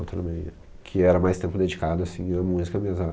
Ultraman, que era mais tempo dedicado, assim, a música mesmo.